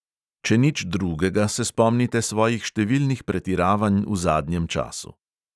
Če nič drugega, se spomnite svojih številnih pretiravanj v zadnjem času.